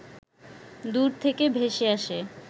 দূর থেকে ভেসে আসে